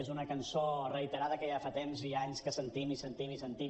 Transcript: és una cançó reiterada que ja fa temps i anys que sentim i sentim i sentim